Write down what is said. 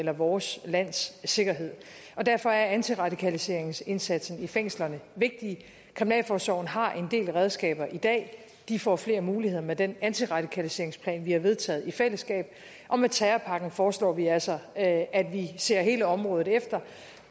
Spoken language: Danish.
eller vores lands sikkerhed derfor er antiradikaliseringsindsatsen i fængslerne vigtig kriminalforsorgen har en del redskaber i dag de får flere muligheder med den antiradikaliseringsplan vi har vedtaget i fællesskab og med terrorpakken foreslår vi altså at at vi ser hele området efter